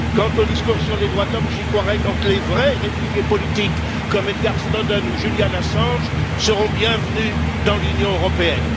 Quant au discours sur les droits de l'homme, j'y croirai quand les vrais réfugiés politiques, comme Edward Snowden ou Julian Assange, seront bienvenus dans l'Union européenne.